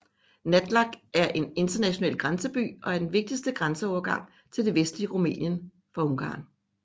Nădlac er en international grænseby og er den vigtigste grænseovergang til det vestlige Rumænien fra Ungarn